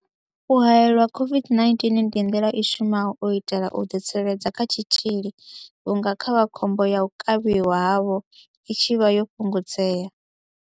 U haelelwa COVID-19 ndi nḓila i shumaho u itela u ḓitsireledza kha tshitzhili vhunga khovhakhombo ya u kavhiwa havho i tshi vha yo fhungudzea.